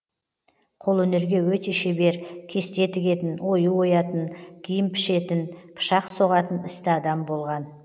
қолөнерге өте шебер кесте тігетін ою оятын киім пішетін пышақ соғатын істі адам болған